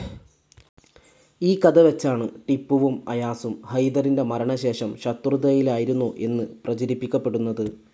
ഈ കഥ വെച്ചാണ് ടിപ്പുവും അയാസും ഹൈദറിന്റെ മരണ ശേഷം ശത്രുതയിലായിരുന്നു എന്ന് പ്രചരിപ്പിക്കപ്പെടുന്നത്‌.